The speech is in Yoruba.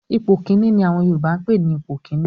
"Ipò kíní" ni àwọn Yorùbá ń pè ní ipò kíní